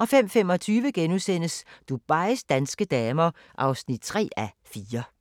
05:25: Dubais danske damer (3:4)*